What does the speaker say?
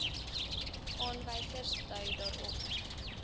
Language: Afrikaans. aanwysers dui daarop